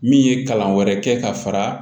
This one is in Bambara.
Min ye kalan wɛrɛ kɛ ka fara